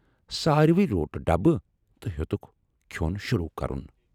سارِوٕے روٹ ڈبہٕ تہٕ ہیوتُک کھٮ۪ن شوروٗ کَرُن۔